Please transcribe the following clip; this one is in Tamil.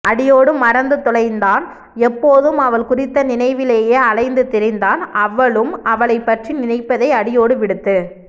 அடியோடு மறந்துத் தொலைந்தான் எப்போதும் அவள் குறித்த நினைவிலேயே அலைந்து திரிந்தான் அவளும் அவளைப்பற்றி நினைப்பதை அடியோடு விடுத்து